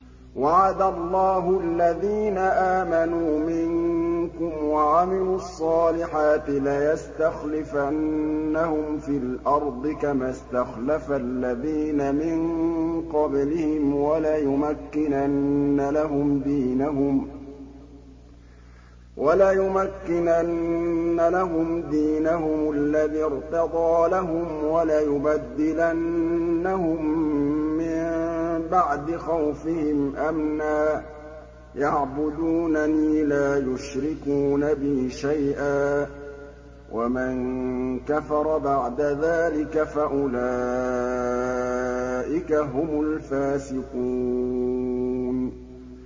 وَعَدَ اللَّهُ الَّذِينَ آمَنُوا مِنكُمْ وَعَمِلُوا الصَّالِحَاتِ لَيَسْتَخْلِفَنَّهُمْ فِي الْأَرْضِ كَمَا اسْتَخْلَفَ الَّذِينَ مِن قَبْلِهِمْ وَلَيُمَكِّنَنَّ لَهُمْ دِينَهُمُ الَّذِي ارْتَضَىٰ لَهُمْ وَلَيُبَدِّلَنَّهُم مِّن بَعْدِ خَوْفِهِمْ أَمْنًا ۚ يَعْبُدُونَنِي لَا يُشْرِكُونَ بِي شَيْئًا ۚ وَمَن كَفَرَ بَعْدَ ذَٰلِكَ فَأُولَٰئِكَ هُمُ الْفَاسِقُونَ